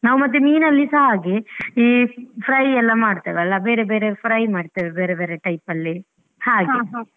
ನಾವ್ ಮತ್ತೆ ಮೀನಲ್ಲಿಸ ಹಾಗೆ ಈ fry ಎಲ್ಲ ಮಾಡ್ತೇವಲ್ಲ ಬೇರೆ ಬೇರೆ fry ಮಾಡ್ತೇವೆ ಬೇರೆ ಬೇರೆ type ಅಲ್ಲಿ ಹಾಗೆ.